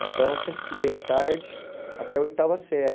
Então, eu sempre estudei à tarde até a oitava série.